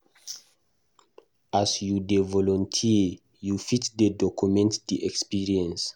As you dey volunteer, you fit dey document di experience